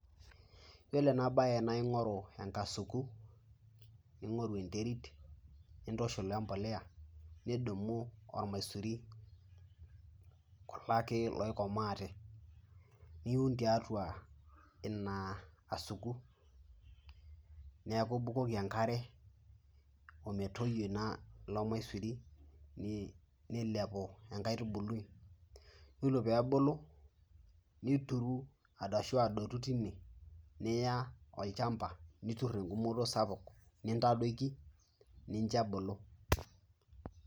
Iyiolo ena baye naa ing'oru enkasuku, ning'oru enterit nintushul we mbolea nidumu ormaisuri kulo ake loikomaate, niun tiatua ina kasuku, neeku ibukoki enkare o metoyio ilo maisuri nilepu enkaitubului. Yiolo pee ebulu nituru arashu adotu tine niya olchamba, nitur eng'umoto sapuk nintadoiki ninjo ebulu.